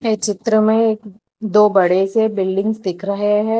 इस चित्र में दो बड़े से बिल्डिंग्स दिख रहे हैं।